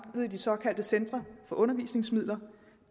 i de såkaldte centre for undervisningsmidler